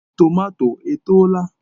Tomato etoola?